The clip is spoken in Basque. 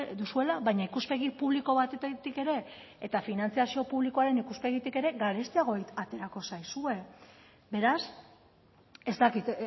duzuela baina ikuspegi publiko batetik ere eta finantzazio publikoaren ikuspegitik ere garestiago aterako zaizue beraz ez dakit